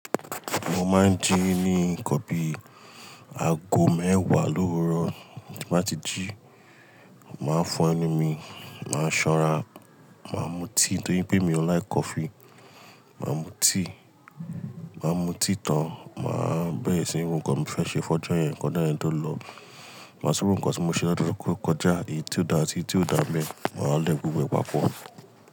Mo máa ń jí ní nkan bi àgó mẹ́wàá lówúró. Tí nba ti jí, máa fo ẹ̀nu mi, máà san'ra, máa mu tea nítorí pé mi o like coffee máà mú tea. Màá mu tea tán, màá bẹ̀rẹ̀ sí nrọ nkan mo fẹ́ ṣe fun ojo yẹn, kí ọjọ́ yẹn tóolo màá súre ohun kan tí mo ṣe látọ̀kọ̀ kọjá, èyí tí ó dá àti èyí tí ò dá mi, màá lẹ̀kùn wẹ́wẹ́ papọ̀.